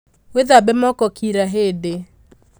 Wĩthabe moko kira hĩndĩ.